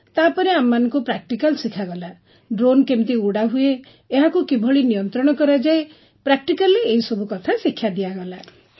ତାପରେ ଆମମାନଙ୍କୁ ପ୍ରାକ୍ଟିକାଲ୍ ଶିଖାଗଲା ଡ୍ରୋନ୍ କେମିତି ଉଡ଼ାହୁଏ ଏହାକୁ କିଭଳି ନିୟନ୍ତ୍ରଣ କରାଯାଏ ପ୍ରାକ୍ଟିକାଲରେ ଏହିସବୁ କଥା ଶିକ୍ଷା ଦିଆଗଲା